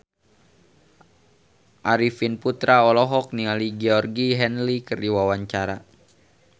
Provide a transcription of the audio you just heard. Arifin Putra olohok ningali Georgie Henley keur diwawancara